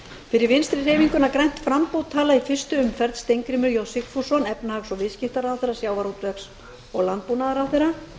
fyrir vinstri hreyfinguna grænt framboð tala í fyrstu umferð steingrímur j sigfússon efnahags og viðskiptaráðherra og sjávarútvegs og landbúnaðarráðherra í